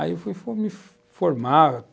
Aí fui fui formar.